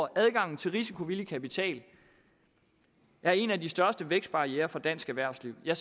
adgang til risikovillig kapital er en af de største vækstbarrierer for dansk erhvervsliv er